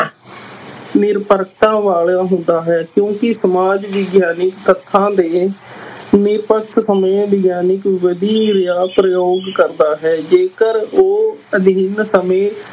ਨਿਰਪੱਖਤਾ ਵਾਲਾ ਹੁੰਦਾ ਹੈ ਕਿਉਂਕਿ ਸਮਾਜ ਵਿਗਿਆਨੀ ਤੱਥਾਂ ਦੇ ਸਮੇਂ ਵਿਗਿਆਨਿਕ ਵਿਧੀ ਦਾ ਪ੍ਰਯੋਗ ਕਰਦਾ ਹੈ, ਜੇਕਰ ਉਹ ਅਧਿਐਨ ਸਮੇਂ